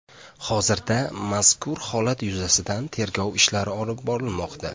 Hozirda mazkur holat yuzasidan tergov ishlari olib borilmoqda.